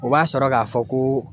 O b'a sɔrɔ k'a fɔ ko